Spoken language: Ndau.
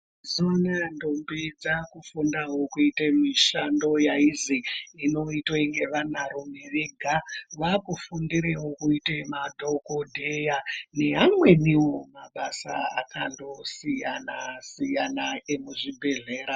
Mazuva anaya ndombi dzaku fundawo kuite mishando yaizi inoitwa nge vana rume vega vakufundirewo kuite madhokodheya ne amweniwo mabasa akando siyana siyana emuzvi bhedhlera.